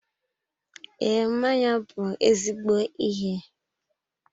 Ee, mmanya bụ ezigbo ihe